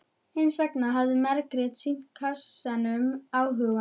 Hins vegar hafði Margrét sýnt kassanum áhuga.